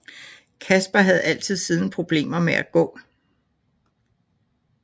Kaspar havde altid siden problemer med at gå